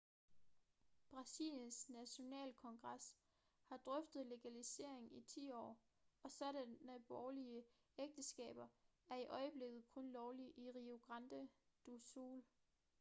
brasiliens nationalkongres har drøftet legalisering i 10 år og sådanne borgerlige ægteskaber er i øjeblikket kun lovlige i rio grande do sul